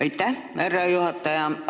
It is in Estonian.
Aitäh, härra juhataja!